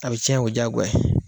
A bi tiɲɛ o ye jagoya ye.